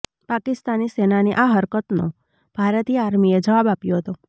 પાકિસ્તાની સેનાની આ હરકતનો ભારતીય આર્મીએ જવાબ આપ્યો હતો